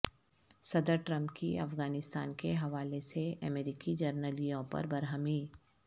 صدر ٹرمپ کی افغانستان کے حوالے سے امریکی جرنیلوں پر برہمی